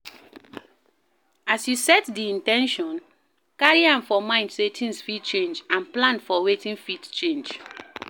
As you set di in ten tion, carry am for mind sey things fit change and plan for wetin fit change